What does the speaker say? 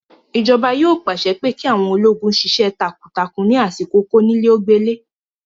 Ìjọba yóò pàṣẹ pé kí àwọn ológun sisẹ́ takuntakun ní àsìkò kónílé-ó-gbélé